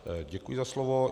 Děkuji za slovo.